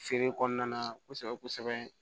Feere kɔnɔna na kosɛbɛ kosɛbɛ